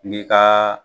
N'i ka